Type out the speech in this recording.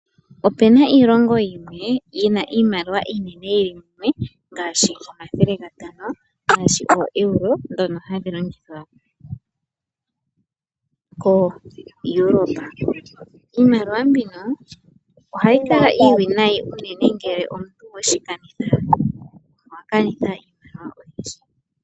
Ope na iilongo yimwe yi na iimaliwa yili mumwe ngaashi omathele gatano, ngaashi ooEuro ndhono hadhi longithwa kooEuropa. Iimaliwa mbino ohayi kala iiwinayi unene ngele omuntu weshi kanitha owa kanitha iimaliwa oyindji.